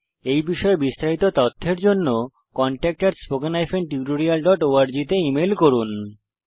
এই বিষয়ে বিস্তারিত তথ্যের জন্য contactspoken tutorialorg তে ইমেল করুন